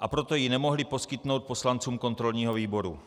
a proto ji nemohli poskytnout poslancům kontrolního výboru.